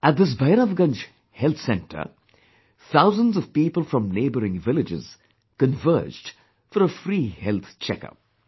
At this Bhairavganj Health Centre, thousands of people from neighbouring villages converged for a free health check up